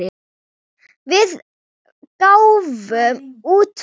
Við gáfum út bók.